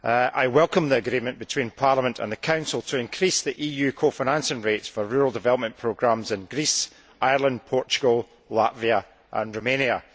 I welcome the agreement between Parliament and the Council to increase the EU co financing rates for rural development programmes in Greece, Ireland, Portugal, Latvia and Romania.